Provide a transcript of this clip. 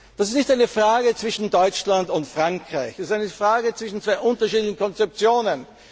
Das ist nicht eine Frage zwischen Deutschland und Frankreich, es ist eine Frage zwischen zwei unterschiedlichen Konzeptionen.